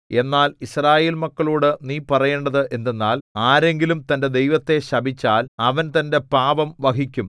എന്നാൽ യിസ്രായേൽ മക്കളോടു നീ പറയേണ്ടത് എന്തെന്നാൽ ആരെങ്കിലും തന്റെ ദൈവത്തെ ശപിച്ചാൽ അവൻ തന്റെ പാപം വഹിക്കും